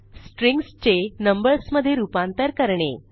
strings चे numbers मधे रूपांतर करणे